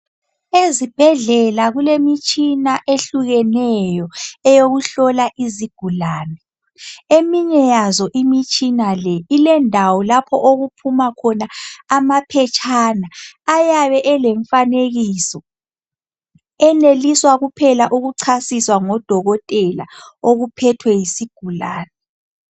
Ezibhedlela kulemitshina ehlukeneyo eyokuhlola izigulane, eminye yazo imitshina le, ilendawo lapho okuphuma khona amaphetshana ayabe elemfanekiso, eneliswa kuphela ukuchasiswa ngodokotela okuphethwe yisigulani.